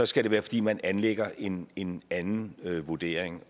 skal det være fordi man anlægger en en anden vurdering